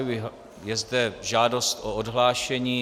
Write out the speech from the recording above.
Je zde žádost o odhlášení.